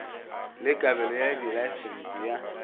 le kabelo ya dilaesense ya